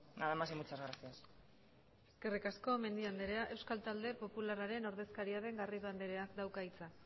nada más y muchas gracias eskerrik asko mendia andrea euskal talde popularraren ordezkaria den garrido andreak dauka hitza